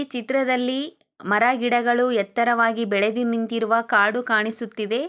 ಈ ಚಿತ್ರದಲ್ಲಿ ಮರ ಗಿಡಗಳೂ ಎತ್ತರವಾಗಿ ಬೆಳೆದು ನಿಂತಿರುವ ಕಾಡು ಕಾಣಿಸುತ್ತಿದೆ.